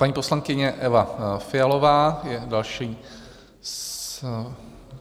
Paní poslankyně Eva Fialová je další,